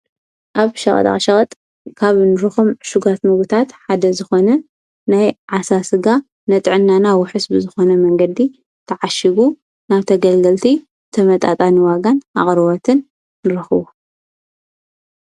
ኣብ ሸሸቐጥ ካብ ንሮኹም ሽጓት ምዉታት ሓደ ዝኾነ ናይ ዓሣ ሥጋ ነጥዐናናዊ ሕስቢ ዝኾነ መንገዲ ተዓሽጉ ናብ ተገልገልቲ ተመጣጣን ዋጋን ኣቕርወት ንረኽዎ።